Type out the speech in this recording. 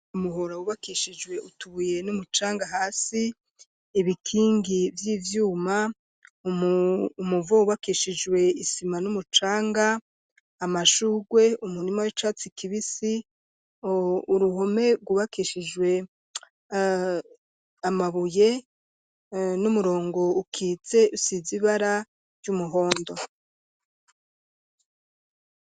Umuhora wubakishijwe utubuye n'umucanga hasi, ibikingi vy'ivyuma umuvo ubakishijwe isima numucanga ,amashugwe umurima w'icatsi kibisi ,uruhome gubakishijwe amabuye ,n'umurongo ukitse usiz' ibara ry'umuhondo.